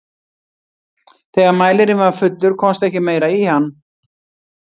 þegar mælirinn var fullur komst ekki meira í hann